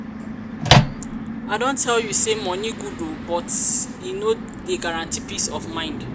i don tell you sey moni good o but e no dey guaranty peace of mind.